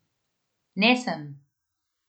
Ne sem!